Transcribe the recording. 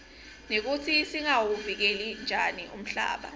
nekutsi singawuvikela njani umhlaba